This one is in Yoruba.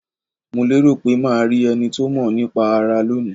Mo lérò pé ma rí enito mo nípa ara lónìí